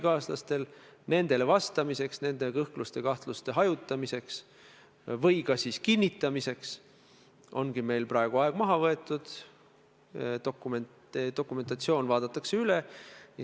Ja see, mis ma täna olen lugenud, et proua Kallas ütleb, et ta on nõus vabandama siis, juhul kui – ma ei tea, mitu "juhul kui'd" sinna tuleb – Mart Järvik tagasi astub.